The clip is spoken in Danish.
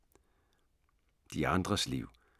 De andres liv